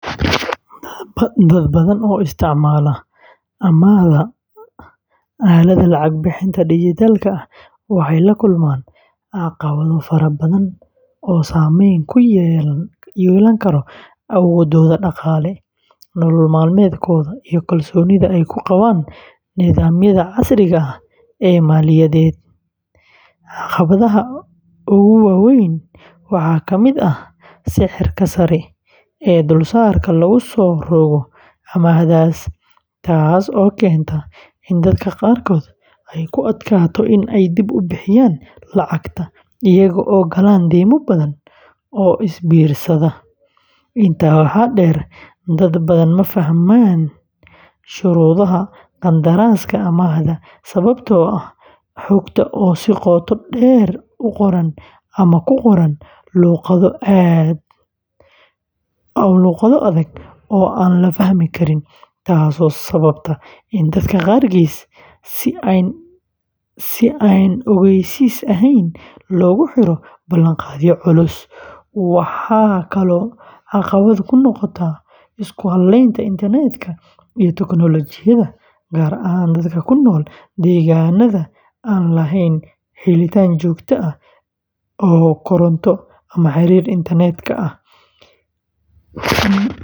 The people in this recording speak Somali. Dad badan oo isticmaala amaahda aaladaha lacag-bixinta dijitaalka ah waxay la kulmaan caqabado fara badan oo saamayn ku yeelan kara awooddooda dhaqaale, nolol maalmeedkooda, iyo kalsoonida ay ku qabaan nidaamyada casriga ah ee maaliyadeed. Caqabadaha ugu waaweyn waxaa ka mid ah sicirka sare ee dulsaarka lagu soo rogo amaahdaas, taas oo keenta in dadka qaarkood ay ku adkaato inay dib u bixiyaan lacagta, iyaga oo gala deyma badan oo is biirsata. Intaa waxaa dheer, dad badan ma fahmaan shuruudaha qandaraaska amaahda sababtoo ah xogta oo si qoto dheer u qoran ama ku qoran luqado adag oo aan la fahmi karin, taasoo sababta in dadka qaarkiis si aan ogeysiis ahayn loogu xiro ballanqaadyo culus. Waxaa kaloo caqabad ku noqda isku halaynta internet-ka iyo tiknoolajiyadda, gaar ahaan dadka ku nool deegaannada aan lahayn helitaan joogto ah oo koronto ama xiriir internet ah.